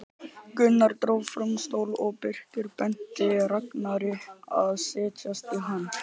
Gunnar dró fram stól og Birkir benti Ragnari að setjast í hann.